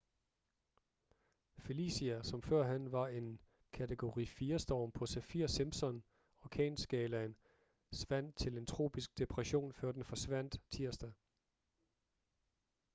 felicia som førhen var en kategori 4 storm på saffir-simpson orkanskalaen svandt til en tropisk depression før den forsvandt tirsdag